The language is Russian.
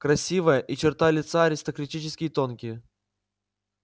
красивая и черты лица аристократически тонкие